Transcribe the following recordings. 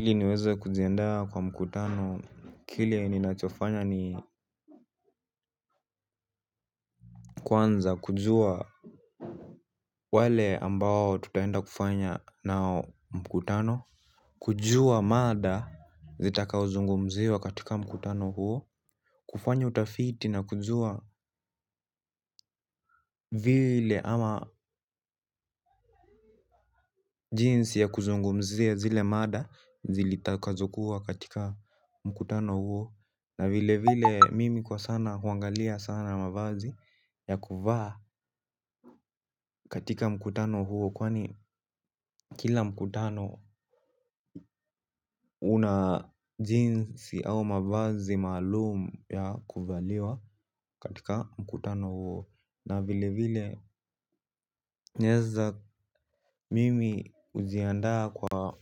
Ili niweze kujiandaa kwa mkutano kile ninachofanya ni kwanza kujua wale ambao tutaenda kufanya nao mkutano kujua mada zitakao zungumziwa katika mkutano huo. Kufanya utafiti na kujua vile ama jinsi ya kuzungumzia zile mada zitakazokuwa katika mkutano huo. Na vile vile mimi kwa sana huangalia sana mavazi ya kuvaa katika mkutano huo. Kwani kila mkutano una jinsi au mavazi maalum ya kuvaliwa katika mkutano huo na vilevile naeza mimi hujiandaa kwa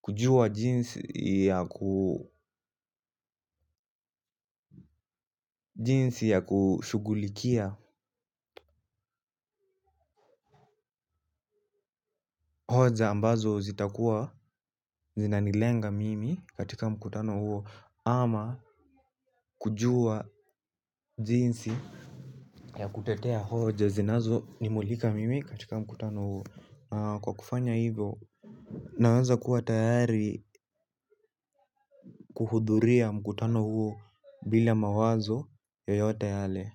kujua jinsi ya ku jinsi ya kushughulikia hoja ambazo zitakuwa zinanilenga mimi katika mkutano huo ama kujua jinsi ya kutetea hoja zinazo nimulika mimi katika mkutano huo kwa kufanya hivo. Naweza kuwa tayari kuhudhuria mkutano huo bila mawazo yoyote yale.